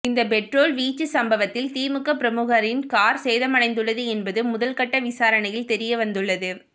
இந்த பெட்ரோல் வீச்சு சம்பவத்தில் திமுக பிரமுகரின் கார் சேதமடைந்துள்ளது என்பது முதல் கட்ட விசாரணையில் தெரிய வந்துள்ளது